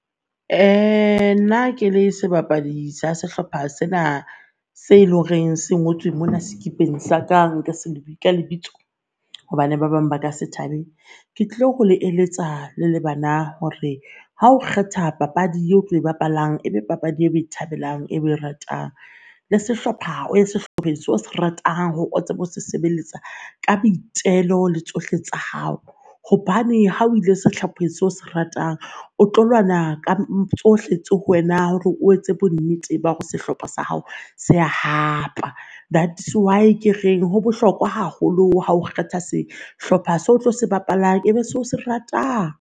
Uh nna ke le sebapadi sa sehlopha sena se loreng se ngotswe mona sekipeng sa ka nka se ka lebitso hobane ba bang ba ka se tabe. Ke tlo go le eletsa le bana hore ha o kgetha papadi ye tlo e bapalang, e be papadi e o e thabelang e o e ratang le sehlopha o ye sehlopheng se o se ratang o tsebe ho se sebeletsa ka boitelo le tsohle tsa hao. Hobane ha o ile sehlopheng se o se ratang o tlo lwana ka tsohle tse ho wena hore o etse bonnete ba hore sehlopha sa hao se a hapa. That's why ke re ho bohlokwa haholo ha o kgetha sehlopha se otlo se bapalang ebe se o se ratang.